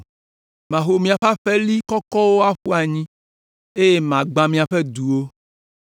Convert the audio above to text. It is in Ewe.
Maho miaƒe aƒeli kɔkɔwo aƒu anyi eye magbã miaƒe duwo.